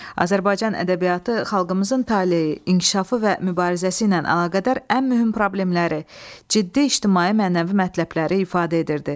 Azərbaycan ədəbiyyatı xalqımızın taleyi, inkişafı və mübarizəsi ilə əlaqədar ən mühüm problemləri, ciddi ictimai-mənəvi mətləbləri ifadə edirdi.